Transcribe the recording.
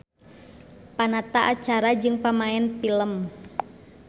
Panata acara jeung pamaen pilem.